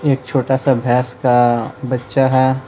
एक छोटा सा भैंस का बच्चा है।